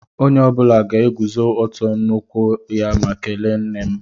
Onye ọbula ga-eguzó ọtọ n'ụkwụ ha ma kèléé nne m